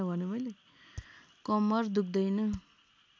कम्मर दुख्दैन